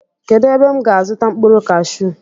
Kedụ ebe m ga azuta mkpụrụ kashuu?